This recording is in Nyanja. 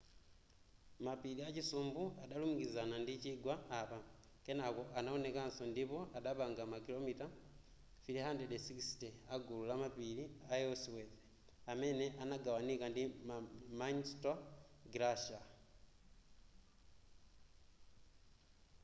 mapiri a chisumbu adalumikizana ndi chigwa apa kenako anaonekanso ndipo adapanga makilomita 360 agulu la mapiri a ellsworth amene anagawanika ndi minnesota glacier